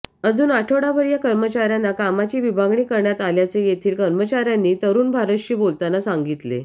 अजून आठवडाभर या कर्मचाऱयांना कामाची विभागणी करण्यात आल्याचे येथील कर्मचाऱयांनी तरुण भारतशी बोलताना सांगितले